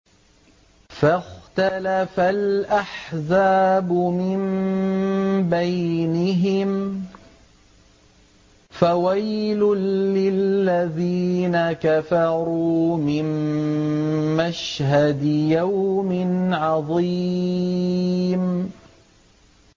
فَاخْتَلَفَ الْأَحْزَابُ مِن بَيْنِهِمْ ۖ فَوَيْلٌ لِّلَّذِينَ كَفَرُوا مِن مَّشْهَدِ يَوْمٍ عَظِيمٍ